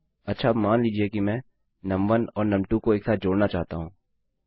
अच्छा अब मान लीजिये कि मैं नुम1 और नुम2 को एक साथ जोड़ना चाहता हूँ